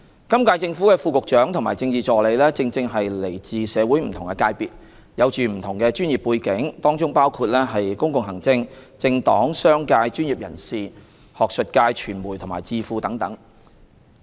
今屆政府的副局長及政治助理正正是來自社會不同的界別，有不同的專業背景，當中包括公共行政、政黨、商界、專業人士、學術界、傳媒及智庫等。